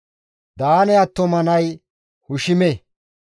Daane attuma nay Hushime.